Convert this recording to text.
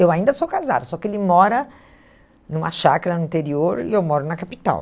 Eu ainda sou casada, só que ele mora numa chácara no interior e eu moro na capital.